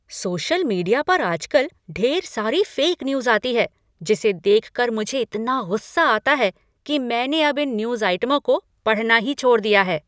Social media पर आजकल ढेर सारी फेक न्यूज आती है जिसे देख कर मुझे इतना गुस्सा आता है कि मैंने अब इन न्यूज आइटमों को पढ़ना ही छोड़ दिया है।